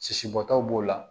Sisi bɔtaw b'o la